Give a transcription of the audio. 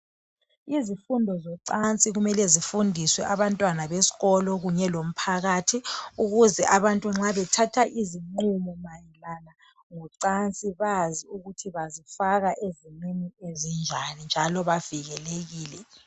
Izifundo zocansi kumele zifundiswe abantwana beskolo kunye lomphakathi ukuze abantu nxa bethatha izinqumo mayelana ngocansi bazi ukuthi bazifaka ezimeni ezinjani njalo bavikelekile.